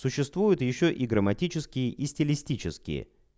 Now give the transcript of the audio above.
существует ещё и грамматические и стилистические